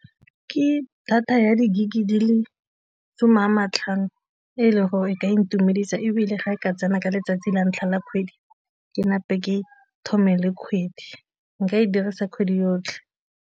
Ke data ya di-gig-e ke di le some a matlhano e leng gore e ka intumedisa ebile ga e ka tsena ka letsatsi la ntlha la kgwedi ke ke thome le kgwedi, nka e dirisa kgwedi yotlhe.